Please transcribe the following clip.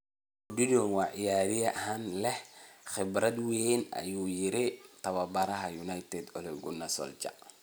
“Odion waa ciyaaryahan leh khibrad weyn” ayuu yiri tababaraha United Ole Gunnar Solskjaer.